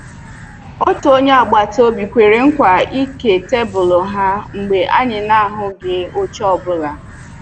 Otu onye agbata obi kwere nkwa ịke tebụl ha mgbe anyị na-ahụghị oche ọ bụla